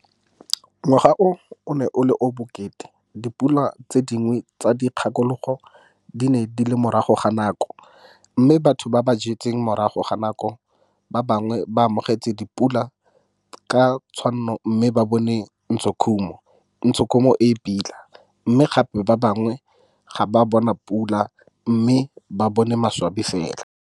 Ngwaga o o ne o le o o bokete - dipula tse dingwe tsa dikgakologo di ne di le morago ga nako mme batho ba jwetse morago ga nako, ba bangwe ba amogetse dipula ka tshwanno mme ba bone ntshokhumo e e pila, mme gape ba bangwe ga ba a bona pula mme ba bone maswabi fela.